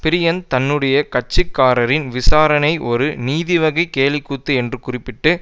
பிரியன் தன்னுடைய கட்சிக்காரரின் விசாரணை ஒரு நீதிவகை கேலிக்கூத்து என்று குறிப்பிட்டு